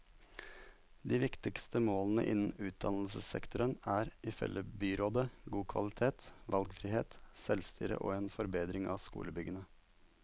De viktigste målene innen utdannelsessektoren er, ifølge byrådet, god kvalitet, valgfrihet, selvstyre og en forbedring av skolebyggene.